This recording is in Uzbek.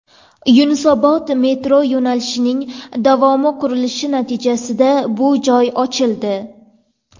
Yunusobod metro yo‘nalishining davomi qurilishi natijasida bu joy ochildi.